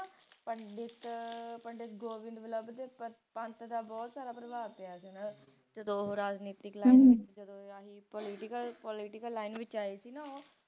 ਪੰਡਿਤ ਪੰਡਿਤ ਗੋਵਿੰਦ ਵੱਲਭ ਦੇ ਪੰਤ ਦਾ ਬਹੁਤ ਜ਼ਯਾਦਾ ਪ੍ਰਭਾਵ ਪਿਆ ਸੀ ਓਹਨਾ ਤੇ ਜਦੋ ਰਾਜਨੀਤਿਕ ਜਦੋ ਆਹੀ ਰਾਜਨੀਤਿਕ political, political line ਵਿਚ ਆਏ ਸੀ ਨਾ ਉਹ